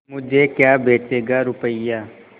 मुझे क्या बेचेगा रुपय्या